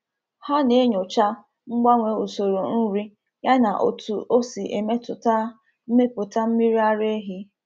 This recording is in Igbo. Ha na-enyocha mgbanwe usoro nri yana otu o si emetụta mmepụta mmiri ara ehi.